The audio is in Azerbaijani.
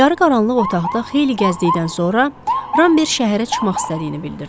Yarı qaranlıq otaqda xeyli gəzdikdən sonra Ramber şəhərə çıxmaq istədiyini bildirdi.